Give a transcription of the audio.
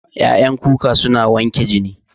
Ƴaƴan kuka suna wanke jini